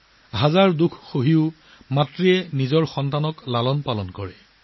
মা তেওঁ প্ৰতিটো দুখ সহ্য কৰি নিজৰ সন্তানৰ যত্ন লয়